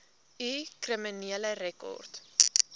u kriminele rekord